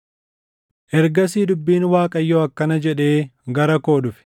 Ergasii dubbiin Waaqayyoo akkana jedhee gara koo dhufe;